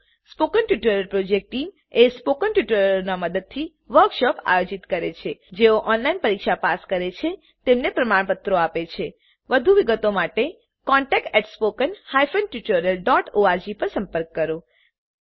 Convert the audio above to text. spoken tutorial project team spoken ટ્યુટોરીયલોનાં મદદથી વર્કશોપોનું આયોજન કરે છે જેઓ ઓનલાઈન પરીક્ષા પાસ કરે છે તેમને પ્રમાણપત્રો આપે છે વધુ વિગત માટે કૃપા કરી contact at spoken hyphen tutorial dot org પર સંપર્ક કરો